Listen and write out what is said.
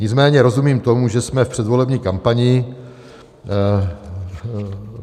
Nicméně rozumím tomu, že jsme v předvolební kampani.